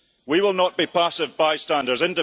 We will not be passive bystanders.